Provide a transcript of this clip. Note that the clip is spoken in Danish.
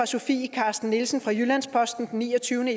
sofie carsten nielsen fra jyllands posten den niogtyvende